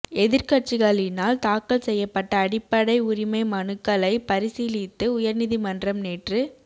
எதிர்க்கட்சிகளினால் தாக்கல் செய்யப்பட்ட அடிப்படை உரிமை மனுக்களை பரிசீலித்த உயர்நீதிமன்றம் நேற்று